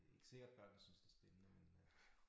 Det ikke sikkert børnene synes det spændende men øh